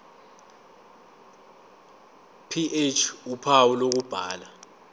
ph uphawu lokubhala